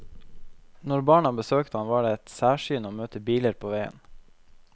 Når barna besøkte ham, var det et særsyn å møte biler på veien.